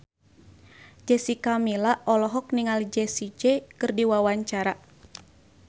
Jessica Milla olohok ningali Jessie J keur diwawancara